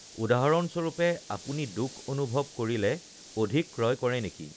উদাহৰণস্বৰূপে, আপুনি দুখ অনুভৱ কৰিলে অধিক ক্ৰয় কৰে নেকি?